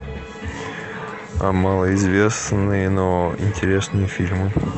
малоизвестные но интересные фильмы